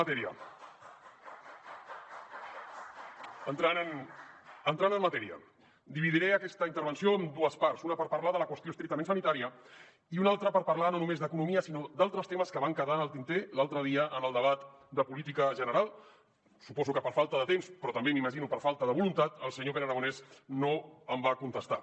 bé entrant en matèria dividiré aquesta intervenció en dues parts una per parlar de la qüestió estrictament sanitària i una altra per parlar no només d’economia sinó d’altres temes que van quedar en el tinter l’altre dia en el debat de política general suposo que per falta de temps però també m’imagino per falta de voluntat el senyor pere aragonès no em va contestar